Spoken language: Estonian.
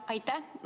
Aitäh!